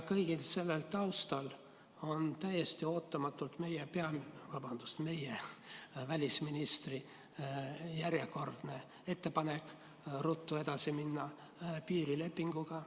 Kõige selle taustal tuli täiesti ootamatult meie välisministri järjekordne ettepanek ruttu edasi minna piirilepinguga.